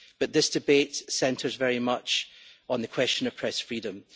But this debate centres very much on the question of press freedom.